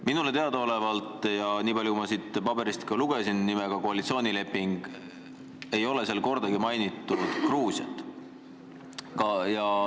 Minule teadaolevalt – nii palju ma sellest dokumendist nimega "Koalitsioonileping" välja lugesin – ei ole teie leppes kordagi mainitud Gruusiat.